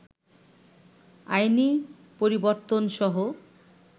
আইনী পরিবর্তনসহ